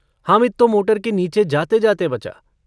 हामिद तो मोटर के नीचे जातेजाते बचा।